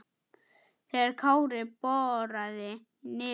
þegar Kári boraði í nefið.